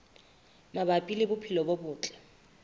mabapi le bophelo bo botle